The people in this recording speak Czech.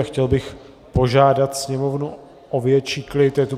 A chtěl bych požádat sněmovnu o větší klid.